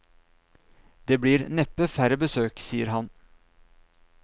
Det blir neppe færre besøk, sier han.